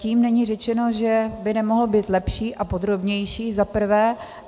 Tím není řečeno, že by nemohl být lepší a podrobnější za prvé.